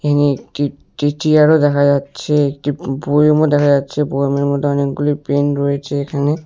এখানে একটি-টি চিয়ারও দেখা যাচ্ছে একটি বো-বোয়মও দেখা যাচ্ছে বোয়েমের মধ্যে অনেকগুলি পেন রয়েছে এখানে।